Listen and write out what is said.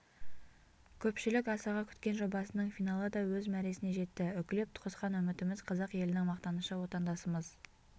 көпшілік асыға күткен жобасының финалы да өз мәресіне жетті үкілеп қосқан үмітіміз қазақ елінің мақтанышы отандасымыз